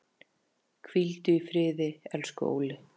Hvíldu í friði, elsku Óli.